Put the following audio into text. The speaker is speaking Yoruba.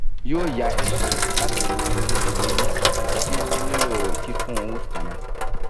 yoo ya x-ray lati wo iru eyin ti o nilo kikun cs] root canal